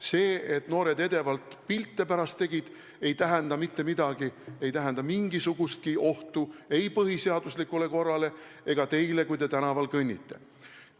See, et noored edevalt pärast pilte tegid, ei tähenda mitte midagi, ei tähenda mingisugustki ohtu ei põhiseaduslikule korrale ega teile, kui te tänaval kõnnite.